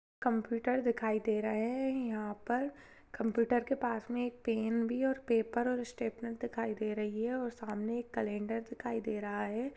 Computer दिखाई दे रहे है यहाँ पर कंप्यूटर के पास मे एक पेन भी और पेपर और स्टैप्लर दिखाई दे रही है और सामने एक कैलेंडर दिखाई दे रहा है।